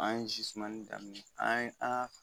An ye zimani daminɛ an ye an y'a fɔ